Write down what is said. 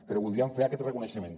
però voldríem fer aquest reconeixement